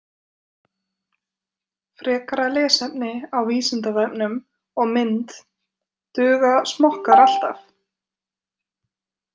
Frekara lesefni á Vísindavefnum og mynd Duga smokkar alltaf?